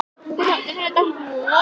Skútagili